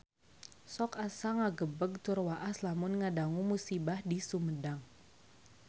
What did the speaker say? Sok asa ngagebeg tur waas lamun ngadangu musibah di Sumedang